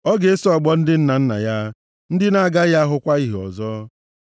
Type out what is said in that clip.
ọ ga-eso ọgbọ ndị nna nna ya ndị na-agaghị ahụkwa ìhè ọzọ.